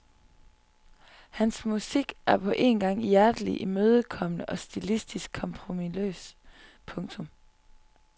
Hans musik er på en gang hjerteligt imødekommende og stilistisk kompromisløs. punktum